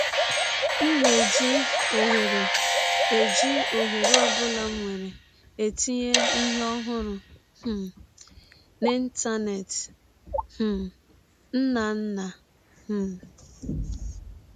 M na - eji ọhere eji ọhere ọ bụla m nwere etinye ihe ọhụrụ um n’Ịntanet. ” um — Nnanna. um